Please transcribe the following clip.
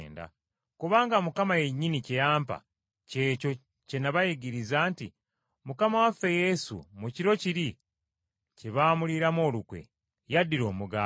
Kubanga Mukama yennyini kye yampa ky’ekyo kye nabayigiriza nti, Mukama waffe Yesu, mu kiro kiri kye baamuliiramu olukwe, yaddira omugaati,